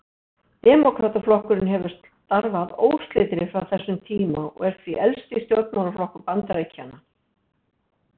Demókrataflokkurinn hefur starfað óslitið frá þessum tíma og er því elsti stjórnmálaflokkur Bandaríkjanna.